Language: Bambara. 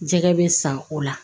Jɛgɛ bɛ san o la